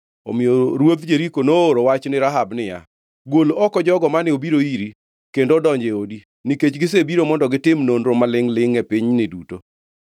Omiyo ruodh Jeriko nooro wach ni Rahab niya, “Gol oko jogo mane obiro iri kendo odonjo e odi, nikech gisebiro mondo gitim nonro ma lingʼ-lingʼ e pinyni duto.”